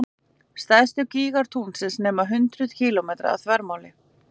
Stærstu gígar tunglsins nema hundruðum kílómetra að þvermáli.